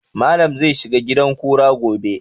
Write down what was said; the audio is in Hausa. Malam zai shiga gidan kura gobe